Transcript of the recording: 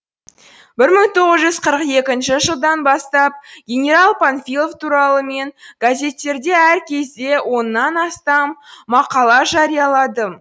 бір мың тоғыз жүз қырық екінші жылдан бастап генерал панфилов туралы мен газеттерде әр кезде оннан астам мақала жарияладым